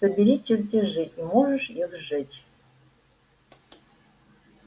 собери чертежи и можешь их сжечь